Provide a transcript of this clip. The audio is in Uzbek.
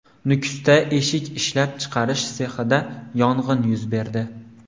Nukusda eshik ishlab chiqarish sexida yong‘in yuz berdi.